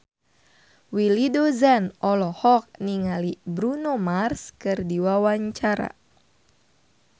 Willy Dozan olohok ningali Bruno Mars keur diwawancara